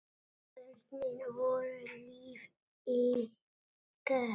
Börnin voru líf ykkar.